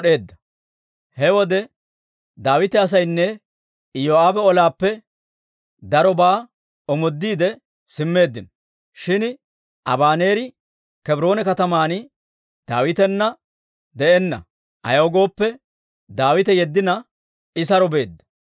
He wode Daawita asaynne Iyoo'aabe olaappe darobaa omoodiide simmeeddino; shin Abaneeri Kebroone kataman Daawitana de'enna; ayaw gooppe, Daawite yeddina I saro beedda.